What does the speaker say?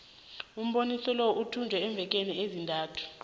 umboniso lo uthetjulwe iimveke ezintathu